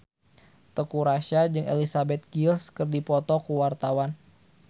Teuku Rassya jeung Elizabeth Gillies keur dipoto ku wartawan